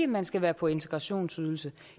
man skal være på integrationsydelse